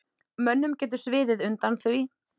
Mönnum getur sviðið undan því.